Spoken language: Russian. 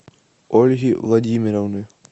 ольги владимировны